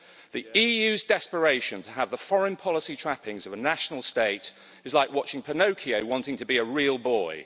The EU's desperation to have the foreign policy trappings of a national state is like watching Pinocchio wanting to be a real boy.